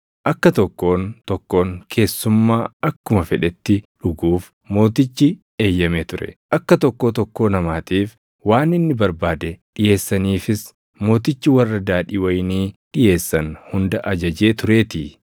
Akka tokkoon tokkoon keessummaa akkuma fedhetti dhuguuf mootichi eeyyamee ture; akka tokkoo tokkoo namaatiif waan inni barbaade dhiʼeessaniifis mootichi warra daadhii wayinii dhiʼeessan hunda ajajee tureetii.